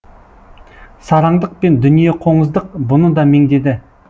сараңдық пен дүниеқоңыздық бұны да меңдеді